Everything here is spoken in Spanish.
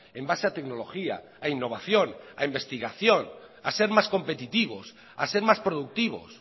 en base a tecnología a innovación a investigación a ser más competitivos a ser más productivos